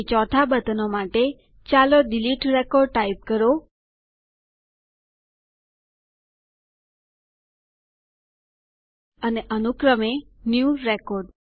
અને અનુક્રમે new record